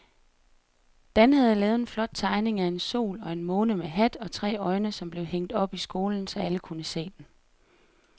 Dan havde lavet en flot tegning af en sol og en måne med hat og tre øjne, som blev hængt op i skolen, så alle kunne se den.